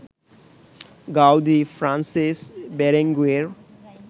Gaudi, Francesc Berenguer